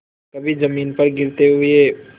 कभी जमीन पर गिरते हुए